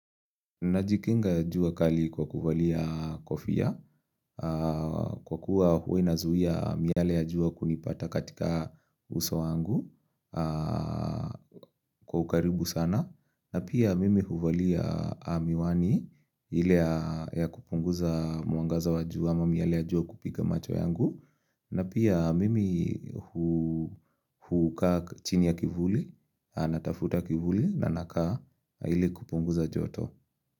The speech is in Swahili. Najikinga jua kali kwa kuvalia kofia, kwa kuwa hua inazuia miale ya jua kunipata katika uso wangu kwa ukaribu sana. Na pia mimi huvalia miwani ile ya kupunguza mwangaza wa jua ama miale ya jua kupiga macho yangu. Na pia mimi hu hukaa chini ya kivuli, natafuta kivuli na nakaa ili kupunguza joto.